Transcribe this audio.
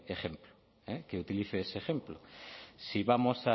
ejemplo que utilice ese ejemplo si vamos